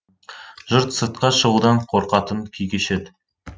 жұрт сыртқа шығудан қорқатын күй кешеді